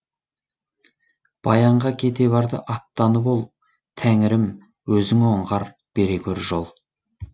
баянға кете барды аттанып ол тәңірім өзің оңғар бере гөр жол